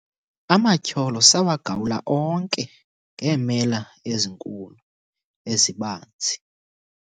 amatyholo sawagawula onke ngeemela ezinkulu ezibanzi